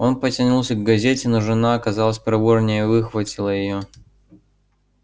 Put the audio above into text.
он потянулся к газете но жена оказалась проворнее и выхватила её